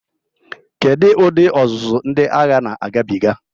Kedu ụdị ọzụzụ ndị agha na-agabiga?